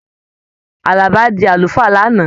Àlàbá di àlùfáà l'ana.